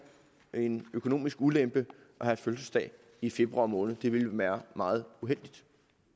en økonomisk ulempe at have fødselsdag i februar måned det vil være meget uheldigt